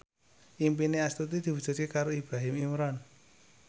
impine Astuti diwujudke karo Ibrahim Imran